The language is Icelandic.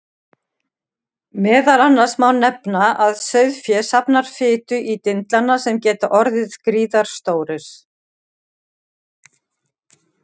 Meðal annars má nefna að sauðfé safnar fitu í dindlana sem geta orðið gríðarstórir.